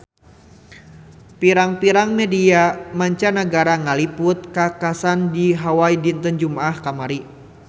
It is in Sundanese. Pirang-pirang media mancanagara ngaliput kakhasan di Hawai dinten Jumaah kamari